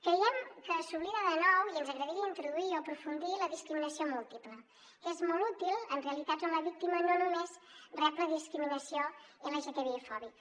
creiem que s’oblida de nou i ens agradaria introduir hi o aprofundir en la discriminació múltiple que és molt útil en realitats on la víctima no només rep la discriminació lgtbi fòbica